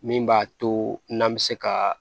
Min b'a to n'an bɛ se ka